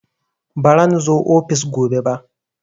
Baran zo ofis gobe ba